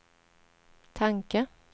tanke